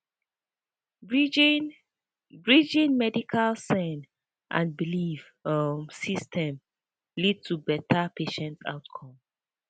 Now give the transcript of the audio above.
pause bridging pause bridging pause medical send and belief um systems leads to betta patient outcomes